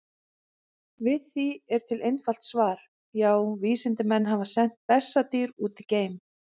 Við því er til einfalt svar: Já, vísindamenn hafa sent bessadýr út í geim!